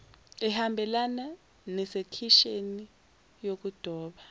ehambelana nesekisheni yokudoba